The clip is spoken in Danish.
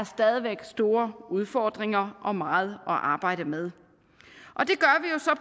stadig væk store udfordringer og meget at arbejde med